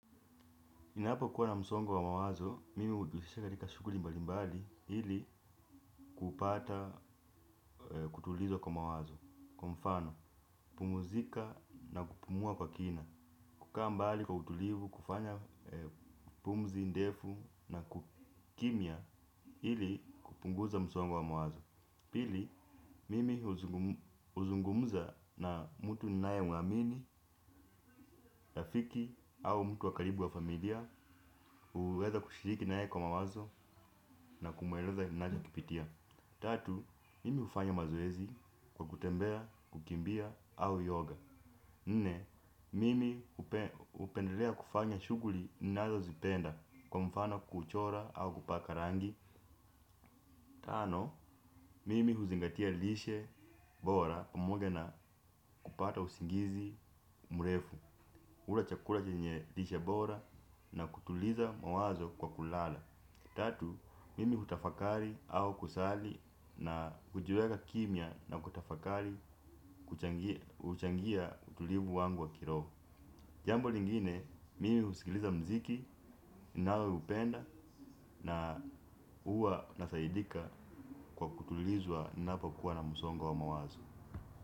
Ninapo kuwa na msongo wa mawazo, mimi hujihusisha katika shughuli mbali mbali ili kupata kutulizo kwa mawazo. Kwa mfano, pumzika na kupumua kwa kina. Kukaa mbali kwa utulivu, kufanya pumzi, ndefu na kukimya ili kupunguza msongo wa mawazo. Pili, mimi huzungumza na mtu ninaye mwamini, rafiki au mtu wa karibu wa familia uweza kushiriki naye kwa mawazo na kumweleza ninacho kipitia. Tatu, mimi hufanya mazoezi kwa kutembea, kukimbia au yoga. Nne, mimi hupendelea kufanya shughuli ninazo zipenda kwa mfano kuchora au kupaka rangi. Tano, mimi huzingatia lishe bora pamoge na kupata usingizi mrefu, kula chakula chenye lishe bora na kutuliza mawazo kwa kulala. Tatu, mimi hutafakari au kusali na hujiweka kimya na kutafakari kuchangia kuchangia utulivu wangu wa kiroho. Jambo lingine, mimi husikiliza mziki, ninao upenda na huwa nasaidika kwa kutulizwa ninapa kuwa na msongo wa mawazo.